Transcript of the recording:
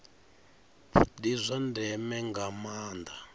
ndi zwa ndeme nga maanda